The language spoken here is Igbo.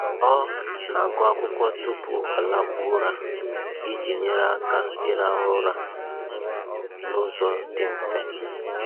Ọ na-agụ akwụkwọ tupu ọ lakpuo ụra iji nyere aka ịrahụ ụra n'ụzọ dị mfe.